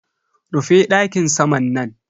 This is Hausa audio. Rufe dakin saman nan.